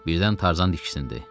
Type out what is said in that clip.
Birdən Tarzan diksindi.